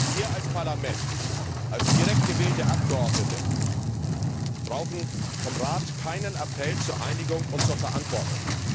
Wir als Parlament, als direkt gewählte Abgeordnete, brauchen vom Rat keinen Appell zur Einigung und zur Verantwortung.